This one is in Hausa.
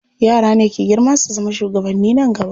Yara ne ke girma su zama shugabanni nan gaba.